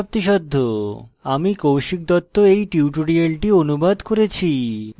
আমি কৌশিক দত্ত এই টিউটোরিয়ালটি অনুবাদ করেছি